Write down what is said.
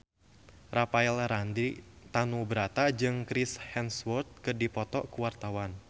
Rafael Landry Tanubrata jeung Chris Hemsworth keur dipoto ku wartawan